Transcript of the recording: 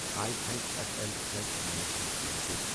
I A F L wealth management limited